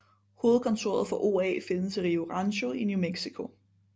Hovedkontoret for OA findes i Rio Rancho i New Mexico